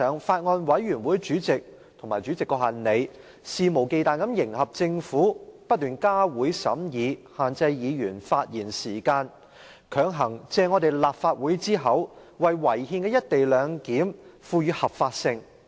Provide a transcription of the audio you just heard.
法案委員會主席和立法會主席肆無忌憚地迎合政府，不斷加會審議、限制議員發言時間，強行借立法會之口，為違憲的"一地兩檢"賦予合法性。